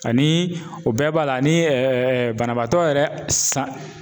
Ani o bɛɛ b'a la ani banabaatɔ yɛrɛ san